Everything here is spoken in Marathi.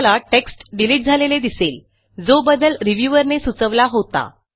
आपल्याला टेक्स्ट डिलिट झालेले दिसेल जो बदल रिव्ह्यूअर ने सुचवला होता